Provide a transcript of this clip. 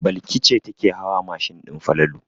Balki ce take hawa mashin din Falalu.